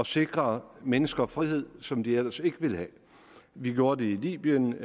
sikre mennesker frihed som de ellers ikke ville have vi gjorde det i libyen